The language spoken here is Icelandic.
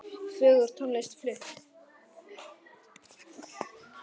Fögur tónlist flutt.